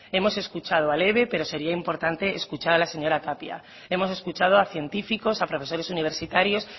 hemos escuchado al eve pero sería importante escuchar a la señora tapia hemos escuchado a científicos a profesores universitarios